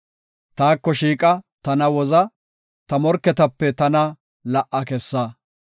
Taako shiiqa; tana woza; ta morketape tana la77a kessa.